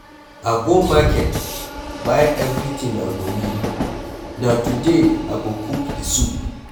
I go market buy everything I go need, na today I go cook the soup.